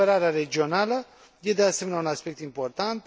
Cooperarea regională e de asemenea un aspect important.